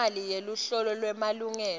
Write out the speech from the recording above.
imali yeluhlolo lwemalungelo